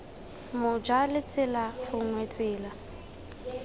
moja la tsela gongwe tsela